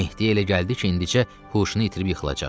Mehdi elə gəldi ki, indicə huşunu itirib yıxılacaq.